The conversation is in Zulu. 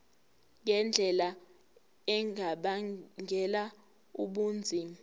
ngendlela engabangela ubunzima